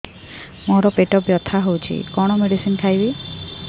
ମୋର ପେଟ ବ୍ୟଥା ହଉଚି କଣ ମେଡିସିନ ଖାଇବି